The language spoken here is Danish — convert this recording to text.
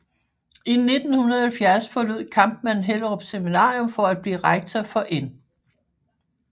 I 1970 forlod Kampmann Hellerup Seminarium for at blive rektor for N